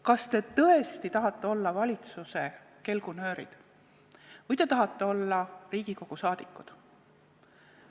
Kas te tõesti tahate olla valitsuse kelgunöörid või te tahate olla Riigikogu liikmed?